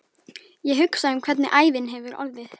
Ég hugsa um hvernig ævin hefði orðið.